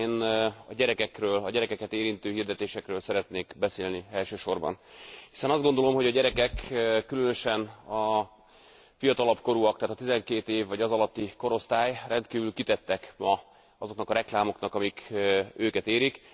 Én a gyerekekről, a gyerekeket érintő hirdetésekről szeretnék beszélni elsősorban, hiszen azt gondolom, hogy a gyerekek, különösen a fiatalabb korúak, tehát a 12 év vagy azalatti korosztály rendkívül kitettek ma azoknak a reklámoknak, amik őket érik.